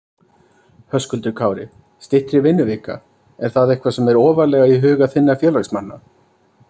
Höskuldur Kári: Styttri vinnuvika, er það eitthvað sem er ofarlega í huga þinna félagsmanna?